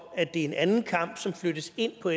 det er en anden kamp som flyttes ind på